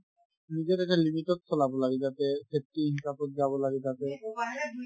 নিজৰ এটা limit তত চলাব লাগে যাতে ইয়াত কি হিচাপত যাব লাগে যাতে